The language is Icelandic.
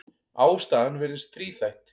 Ástæðan virðist þríþætt.